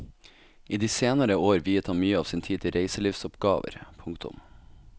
I de senere år viet han mye av sin tid til reiselivsoppgaver. punktum